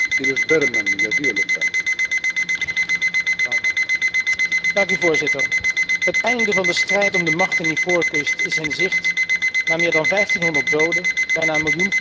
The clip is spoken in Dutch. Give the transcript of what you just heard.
Het einde van de strijd om de macht in Ivoorkust is in zicht na meer dan 1500 doden, bijna een miljoen vluchtelingen in de regio, hele straten vol geplunderde huizen en een economie die tot stilstand kwam.